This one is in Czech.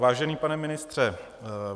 Vážený pane ministře.